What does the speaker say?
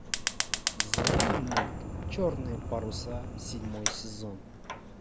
заводи мульт черные паруса седьмой сезон